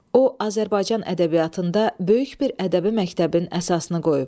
O Azərbaycan ədəbiyyatında böyük bir ədəbi məktəbin əsasını qoyub.